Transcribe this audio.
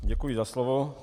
Děkuji za slovo.